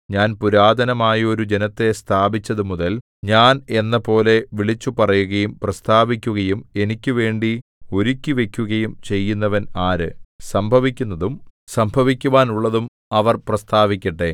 ഞാൻ പുരാതനമായൊരു ജനത്തെ സ്ഥാപിച്ചതുമുതൽ ഞാൻ എന്നപോലെ വിളിച്ചുപറയുകയും പ്രസ്താവിക്കുകയും എനിക്കുവേണ്ടി ഒരുക്കിവയ്ക്കുകയും ചെയ്യുന്നവൻ ആര് സംഭവിക്കുന്നതും സംഭവിക്കുവാനുള്ളതും അവർ പ്രസ്താവിക്കട്ടെ